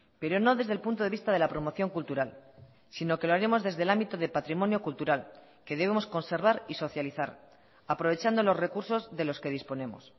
pero no desde el punto de vista de la promoción cultural sino que lo haremos desde el ámbito de patrimonio cultural que debemos conservar y socializar aprovechando los recursos de los que disponemos